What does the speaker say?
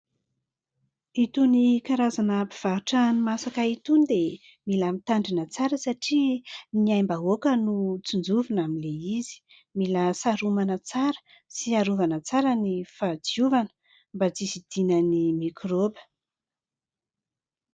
Itony karazana mpivarotra hani-masaka itony dia, mila mitandrina tsara satria, ny aim-bahoaka no tsinjovina amin' ilay izy, mila saromana tsara sy harovana tsara ny fahadiovana, mba tsy hisidinan' ny mikraoba.